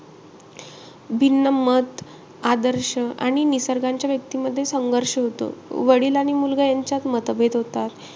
भिन्न मत आदर्श आणि निसर्गाच्या व्यक्तींमध्ये संघर्ष होतो. वडील आणि मुलगा यांच्यात मतभेद होतात.